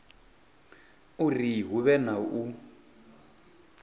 uri hu vhe na u